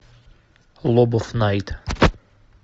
лобов найт